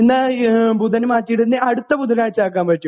എന്നാൽ ബുധനാഴ്ച മാറ്റിയിട്ട് അടുത്ത ബുധനാഴ്ച ആക്കാൻ പറ്റുമോ